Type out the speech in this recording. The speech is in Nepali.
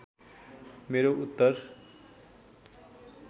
मेरो उत्तर